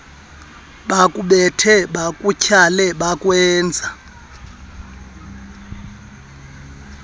bakubethe bakutyhale bakwenze